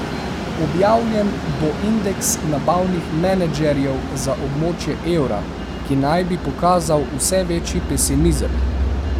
Objavljen bo indeks nabavnih menedžerjev za območje evra, ki naj bi pokazal vse večji pesimizem.